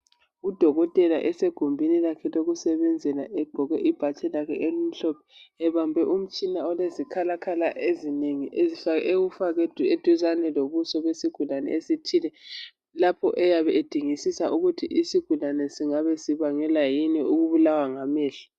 UDokotela esegumbin lakhe lokusebenzela egqoke ibhatshi lakhe elimhlophe ebambe umtshina olezikhalakhala ezinengi ewufake duzane lobuso besigulane esithile lapho eyabe edingisisa ukut isigulani singabe sibangelwa yini ukubulawa ngamehlo